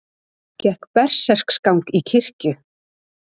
Gekk berserksgang í kirkju